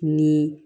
Ni